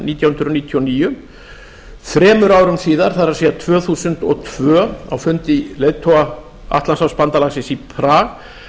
nítján hundruð níutíu og níu þremur árum síðar það er tvö þúsund og tvö á fundi leiðtoga atlantshafsbandalaginu í prag